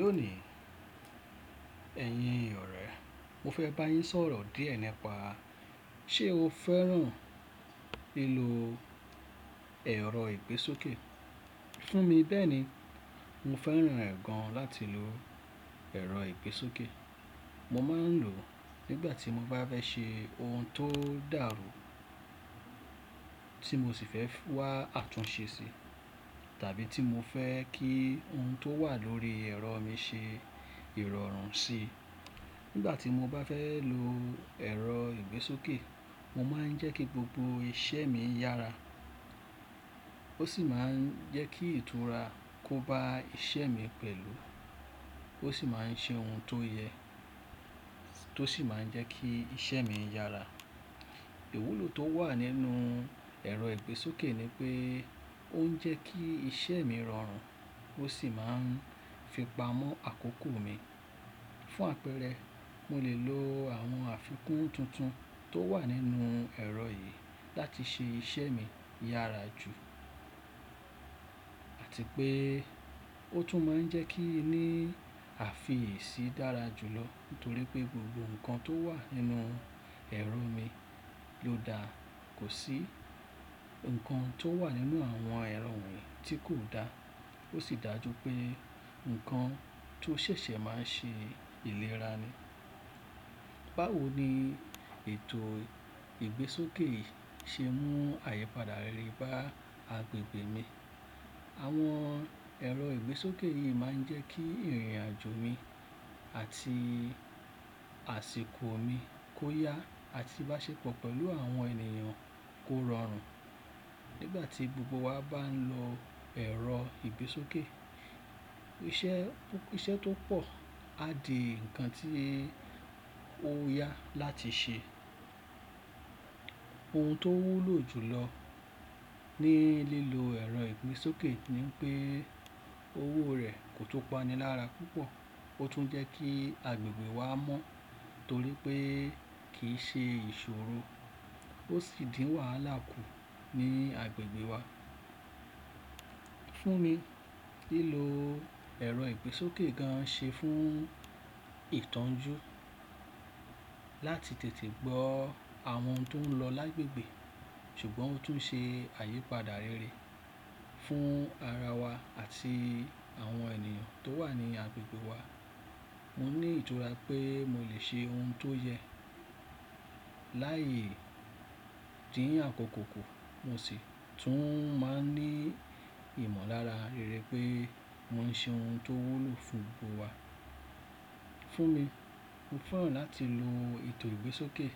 Lónìí, ẹ̀yin ọ̀rẹ́, mo fẹ́ bá yín sọ̀rọ̀ díẹ̀ nípa ṣé o fẹ́ràn lílo ẹ̀rọ ìgbésókè? Fún mi bẹ́ẹ̀ ni, mo fẹ́ràn ẹ̀ gan láti lò ẹ̀rọ ìgbésókè. Mo máa ń lò ó nígbàtí mo bá fẹ́ ṣe ohun tó dàrú tí mo sì fẹ́ wá àtúnṣe sí tàbí tí mo fẹ́ kí ohun tó wà lórí ẹ̀rọ mi ṣe ìrọ̀rùn sí. Nígbàtí mo bá fẹ́ lò ẹ̀rọ ìgbésókè, mo máa ń jẹ́ kí gbogbo iṣẹ́ mi yára. Ó sì máa ń jẹ́ kí ìtura kó ba iṣẹ́ mi pẹ̀lú. Ó sì máa ń ṣe ohun tó yẹ tó sì máa ń jẹ́ kí iṣẹ́ mi yára. Ìwúlò tó wà nínú ẹ̀rọ ìgbésókè ni pé ó ń jẹ́ kí iṣẹ́ mi rọrùn ó sì máa ń fi pamọ́ àkókò mi. Fún àpẹẹrẹ, mo lè lo àwọn àfikún tuntun tó wà nínú ẹ̀rọ yìí láti ṣe iṣẹ́ mi yára jù àti pé ó tún máa ń jẹ́ kí i ní àfi yèési dára jùlọ nítorí pé gbogbo ǹkan tó wà nínú ẹ̀rọ mi ló dá. Kò sí ǹkan tó wà nínú àwọn ẹ̀rọ mi tí kò da. Ó sì dájú pé ǹkan tó ṣẹ̀ṣẹ̀ máa ń ṣe ìlera ni. Báwo ni ètò ìgbésókè yìí ṣe mú àyípadà rere bá agbègbè mi? Àwọn ẹ̀rọ ìgbésókè yìí máa ń jẹ́ kí ìrìnàjò mi àti àsìkò mi kó yá àti bá ṣepọ̀ pẹ̀lú àwọn ènìyàn kó rọrùn. Nígbàtí gbogbo wa bá ń lo ẹ̀rọ ìgbésókè, iṣẹ́ tó pọ̀ à dí ǹkan tí ó yá láti ṣe. Ohun tó wúlò jùlọ ní lílo ẹ̀rọ ìgbésókè ni pé owó rẹ̀ kò tó pani lára púpọ̀. Ó tún jẹ́ kí agbègbè wa mọ́ nítorí pé kì í ṣe ìṣòro. Ó sì dín wàhálà kù ní agbègbè wa. Fún mi, lílo ẹ̀rọ ìgbésókè gan ṣé fún ìtọ́jú láti tètè gbọ́ àwọn tó ń lọ lágbègbè. Ṣùgbọ́n ó tún ṣe àyípadà rere fún ara wa àti àwọn ènìyàn tó wà ní agbègbè wa. Mo ní ìtura pé mo lè ṣe ohun tó yẹ lái dín àkọ́kọ́ ku. Mo sì tún máa ń ní ìmọ̀lára rere pé mo ń ṣe ohun tó wúlò fún gbogbo wa. Fún mi, mo fẹ́ràn láti lo ètò ìgbésókè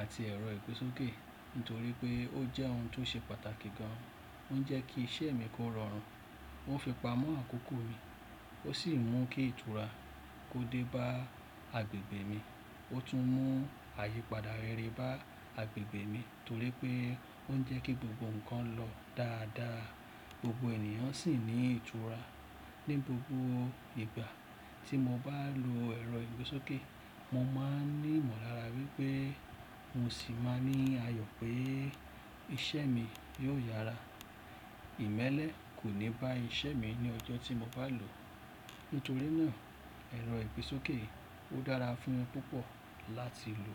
àti ẹ̀rọ ìgbésókè nítorí pé ó jẹ́ ohun tó ṣe pàtàkì gan. Ó ń jẹ́ kí iṣẹ́ mi kó rọrùn. Ó ń fi pamọ́ àkókò mi. Ó sì mú kí ìtura kó dé bá agbègbè mi. Ó tún mú àyípadà rere bá agbègbè mi nítorí pé ó ń jẹ́ kí gbogbo ǹkan lọ dáadáa. Gbogbo ènìyàn sì ní ìtura. Ni gbogbo ìgbà tí mo bá lò ẹ̀rọ ìgbésókè, mo máa ní ìmọ̀lára wípé mo sì máa ní àyọ̀ pé iṣẹ́ mi yóò yára. Ìmẹ́lẹ́ kò ní bá iṣẹ́ mi ní ọjọ́ tí mo bá lò ó. Nítorí náà ẹ̀rọ ìgbésókè ó dára fún mi púpọ̀ láti lò.